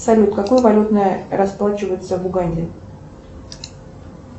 салют какой валютой расплачиваются в уганде